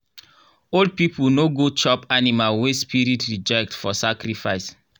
old people no go chop animal wey spirit reject for sacrifice.